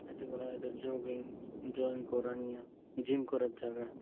এটি করা এটা জগিং জয়েন করা নিয়া জিম করার জায়গা।